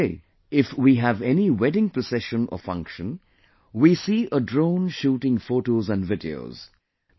But today if we have any wedding procession or function, we see a drone shooting photos and videos